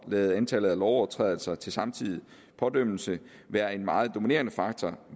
lade antallet af lovovertrædelser til samtidig pådømmelse være en meget dominerende faktor